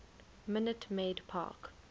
minute maid park